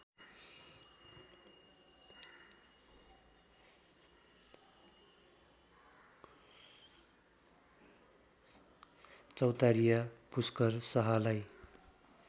Chautariya Pushkar शाहलार्इ